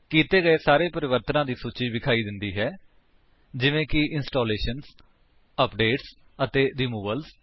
ਕੀਤੇ ਗਏ ਸਾਰੇ ਪਰਿਵਰਤਨਾਂ ਦੀ ਸੂਚੀ ਵਿਖਾਈ ਦਿੰਦੀ ਹੈ ਜਿਵੇਂ ਕਿ ਇੰਸਟਾਲੇਸ਼ਨਜ਼ ਅਪਡੇਟਸ ਅਤੇ ਰਿਮੂਵਲਜ਼